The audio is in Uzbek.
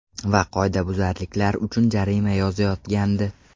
Va qoidabuzarliklar uchun jarima yozayotgandi.